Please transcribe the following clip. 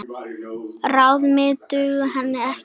Ráð mín duga henni ekki.